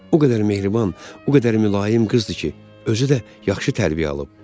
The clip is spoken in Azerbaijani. O qədər mehriban, o qədər mülayim qızdır ki, özü də yaxşı tərbiyə alıb.